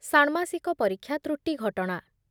ଷାଣ୍ମାସିକ ପରୀକ୍ଷା ତ୍ରୁଟି ଘଟଣା